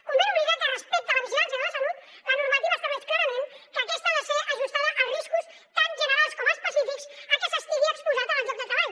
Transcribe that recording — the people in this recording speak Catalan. convé no oblidar que respecte a la vigilància de la salut la normativa estableix clarament que aquesta ha de ser ajustada als riscos tant generals com específics a què s’estigui exposat en el lloc de treball